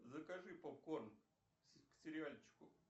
закажи попкорн к сериальчику